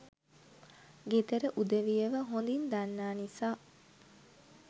ගෙදර උදවියව හොදින් දන්නා නිසා